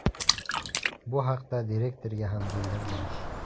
Bu haqda direktorga ham bildirdim.